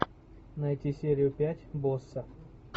найти серию пять босса